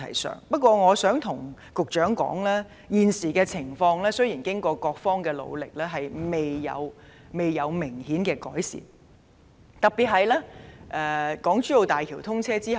我亦想告訴局長，現時雖然得到各方協助，但情況未見明顯改善，特別是在港珠澳大橋通車之後。